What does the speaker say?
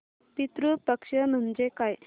पितृ पक्ष म्हणजे काय